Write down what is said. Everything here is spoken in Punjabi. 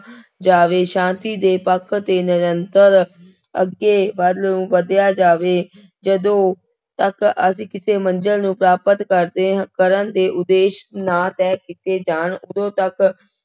ਜਾਵੇਂ, ਸ਼ਾਂਤੀ ਦੇ ਪੱਖ ਤੇ ਨਿਰੰਤਰ ਅੱਗੇ ਵੱਲ ਨੂੰ ਵਧਿਆ ਜਾਵੇ, ਜਦੋਂ ਤੱਕ ਅਸੀਂ ਕਿਸੇ ਮੰਜ਼ਿਲ ਨੂੰ ਪ੍ਰਾਪਤ ਕਰਦੇ, ਕਰਨ ਦੇ ਉਦੇਸ਼ ਨਾ ਤੈਅ ਕੀਤੇ ਜਾਣ ਉਦੋਂ ਤੱਕ